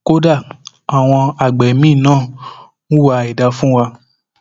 kódà àwọn àgbẹ míín náà hùwà àìdáa fún wa